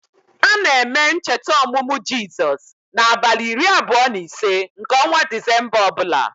A na-eme ncheta ọmụmụ Jizọs n' abalị iri abụọ na ise nke ọnwa disemba ọbụla